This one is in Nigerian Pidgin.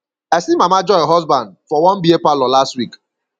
i see mama joy husband for one beer parlor last week